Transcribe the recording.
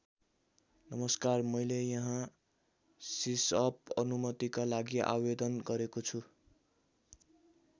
नमस्कार मैले यहाँ सिसअप अनुमतिका लागि आवेदन गरेको छु।